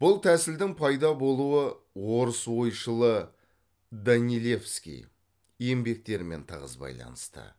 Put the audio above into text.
бұл тәсілдің пайда болуы орыс ойшылы данилевский еңбектерімен тығыз байланысты